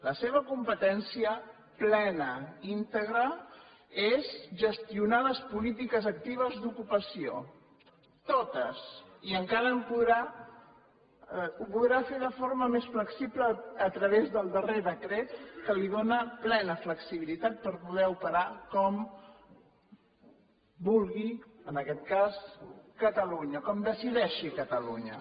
la seva competència plena íntegra és gestionar les polítiques actives d’ocupació totes i encara ho podrà fer de forma més flexible a través del darrer decret que li dóna plena flexibilitat per poder operar com vulgui en aquest cas catalunya com decideixi catalunya